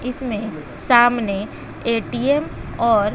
इसमें सामने ए_टी_एम और--